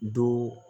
Do